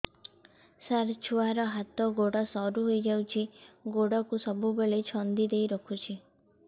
ସାର ଛୁଆର ହାତ ଗୋଡ ସରୁ ହେଇ ଯାଉଛି ଗୋଡ କୁ ସବୁବେଳେ ଛନ୍ଦିଦେଇ ରଖୁଛି